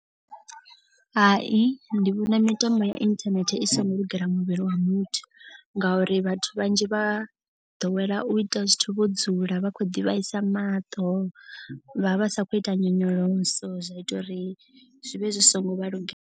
Hai ndi vhona mitambo ya internet i so ngo lugela muvhili wa muthu. Ngauri vhathu vhanzhi vha ḓowela u ita zwithu vho dzula vha khou ḓi vhaisa maṱo. Vha vha sa khou ita nyonyoloso zwa ita uri zwi vhe zwi so ngo vha lugela.